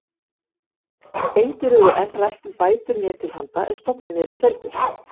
Engir höfðu enn rætt um bætur mér til handa ef stofninn yrði felldur.